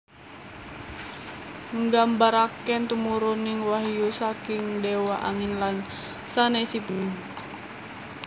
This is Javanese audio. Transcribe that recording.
Nggambaraken tumuruning wahyu saking déwa angin lan sanésipun